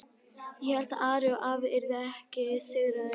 Ég hélt að Ari og afi yrðu ekki sigraðir.